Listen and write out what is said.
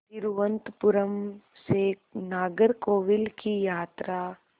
तिरुवनंतपुरम से नागरकोविल की यात्रा